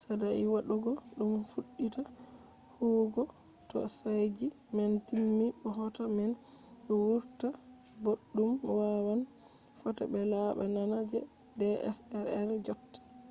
saɗai waɗugo ɗum fuɗɗita huwugo to chaji man timmi bo hoto man ɗo wurta boɗɗum wawan fota be laɓa nana je dslr jotta